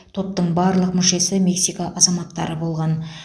топтың барлық мүшесі мексика азаматтары болған